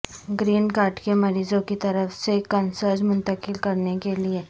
green card کے مریضوں کی طرف سے کنسرج منتقل کرنے کے لئے